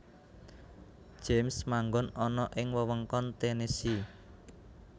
James manggon ana ing wewengkon Tennessee